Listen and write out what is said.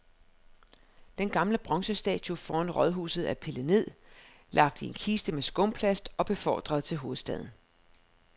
Den gamle bronzestatue foran rådhuset er pillet ned, lagt i en kiste med skumplast og befordret til hovedstaden.